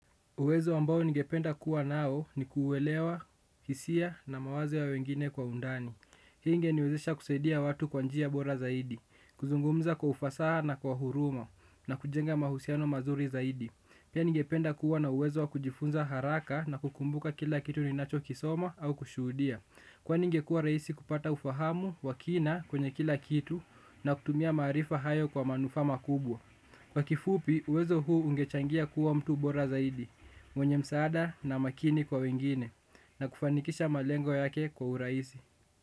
Uwezo ambao ningependa kuwa nao ni ku uelewa, hisia na mawazo ya wengine kwa undani. Hii ingeniwezesha kusaidia watu kwa njia bora zaidi, kuzungumza kwa ufasaha na kwa huruma na kujenga mahusiano mazuri zaidi. Pia ningependa kuwa na uwezo wa kujifunza haraka na kukumbuka kila kitu ni nacho kisoma au kushuhudia. Kwani ingekuwa rahisi kupata ufahamu wakina kwenye kila kitu na kutumia maarifa hayo kwa manufaa ma kubwa. Kwa kifupi, uwezo huu ungechangia kuwa mtu bora zaidi. Mwenye msaada na makini kwa wengine na kufanikisha malengo yake kwa urahisi.